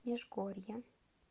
межгорье